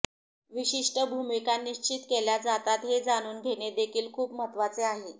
विशिष्ट भूमिका निश्र्चित केल्या जातात हे जाणून घेणे देखील खूप महत्त्वाचे आहे